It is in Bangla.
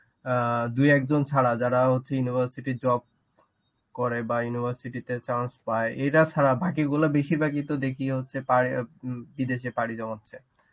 অ্যাঁ দু একজন ছাড়া যারা হচ্ছে university job করে বা university তে chance পায়. এরা ছাড়া বাকিগুলো বেশিরভাগই তো দেখি হচ্ছে পাড়ে~ বিদেশে পাড়ি জমাচ্ছে.